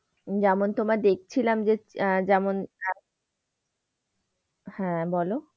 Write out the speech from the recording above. যেমন তোমার দেখছিলাম যে আহ যেমন হ্যাঁ বলো?